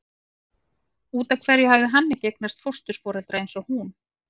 Út af hverju hafði hann ekki eignast fósturforeldra eins og hún?